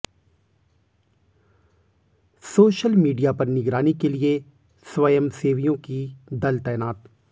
social media पर निगरानी के लिए स्वयंसेवियों की दल तैनात